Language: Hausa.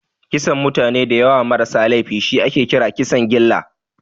Kisan mutane dayawa ma rasa laifi shi ake kira Kisan gilla